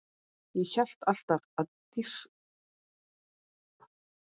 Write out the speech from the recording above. Ég hef alltaf dýrkað börn.